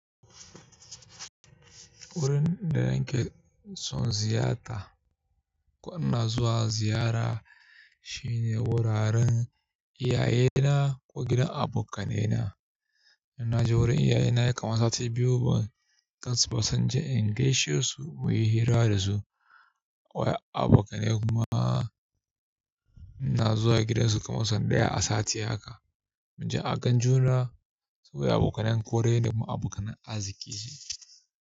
Wurin da nake son ziyarta ko ina zuwa ziyara shine wuraren iyayena ko gidan abokanaina. In na je wurin iyayena nayi kaman sati biyu ban gansu ba sai inje in gaishe su mu yi hira da su. Abokanai kuma ina zuwa gidansu kaman sau ɗaya a sati haka. Mu je a gan juna saboda abokanan kore da kuma abokanan arziki ce.